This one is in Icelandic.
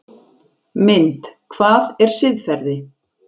Mynd: Hvað er siðferði?